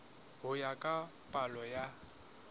ho ya ka palo ya